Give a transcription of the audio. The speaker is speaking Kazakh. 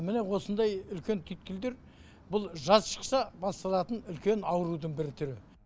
міне осындай үлкен түйткілдер бұл жаз шықса басталатын үлкен аурудың бір түрі